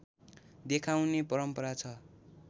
देखाउने परम्परा छ